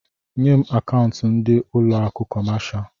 Nyé m akaụntu ndị ụlọ akụ kọmáshá